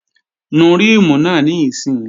Nu ríìmù náà níìsín!